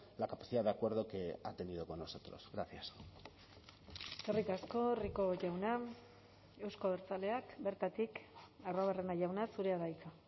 la capacidad de acuerdo que ha tenido con nosotros gracias eskerrik asko rico jauna euzko abertzaleak bertatik arruabarrena jauna zurea da hitza